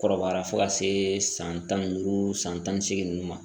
Kɔrɔbayara fo ka se san tan ni duuru san tan ni seegin ninnu ma